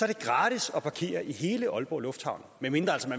er gratis at parkere i hele aalborg lufthavn medmindre